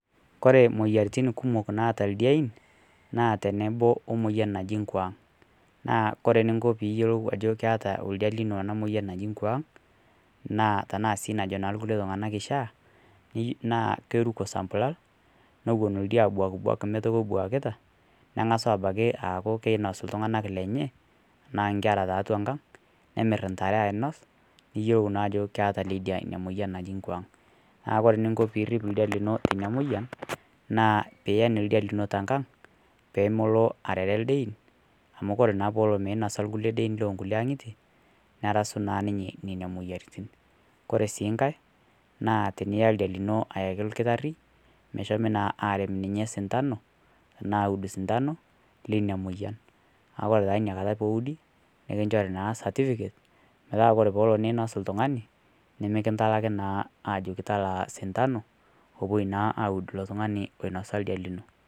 Kore moyiaritin kumook naata ildiain naa teneboo omoyian najii nkwaang. Naa kore neikoo piiyeloo ajo keeta ele ildia emoyian najii nkwaang tana sii najoo nkulee iltung'ana kishaa. Naaku keirukoo samplaal nowuen ildia abuak buak metoki ebuakita, ning'asi abaki aaku keinosi ltung'ana lenyenchee, naa nkeraa te atua nkaang, nemiir ntaare ainos niiyeloo naa ajoo keeta elee ildia enia moyian najii nkwaang. Naaku kore ninkoo piriip ildia niloo tenia moyian naa pieen ildia linoo te nkaang pee moloo areree ildiain amu kore naa pee eloo meinoso ildiain loo nkulee ang'yitie neraasu na ninye nenia moyiaritin. Kore sii nkaai naa tiniyaa ildia linoo ayaaki ilkitaari meshomi naa areem ninye sitano tana auud sitano lenia moyian. Naaku ore naa enia nkaata pee uudi nikinchoori naa certificate metaa kore pee oloo neinos ltung'ani nimikintalaaki naa ajoki talaa sitano pee epoo naa auud eloo ltung'ani onoiso ildia linoo.